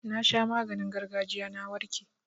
Na sha maganin gargajiya na warke.